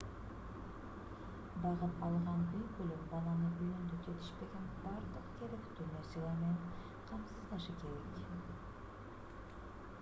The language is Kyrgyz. багып алган үй-бүлө баланы үйүндө жетишпеген бардык керектүү нерселер менен камсыздашы керек